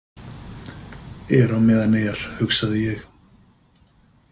Er á meðan er, hugsaði ég.